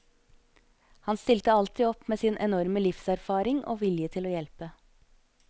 Han stilte alltid opp med sin enorme livserfaring og vilje til å hjelpe.